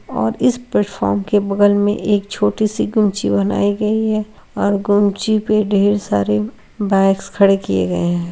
और इस प्लेटफॉर्म के बगल में एक छोटी-सी गुमची बनाई गई है और गुमची भी ढेर सारी बाइक्स खड़े किए गए हैं।